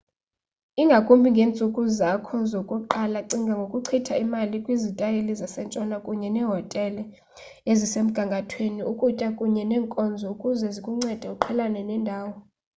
ingakumbi ngeentsuku zakho zokuqala cinga ngokuchitha imali kwizitayile zasentshona kunye neehotele ezisemgangathweni ukutya kunye neenkonzo ukuze zikuncede uqhelane nendawo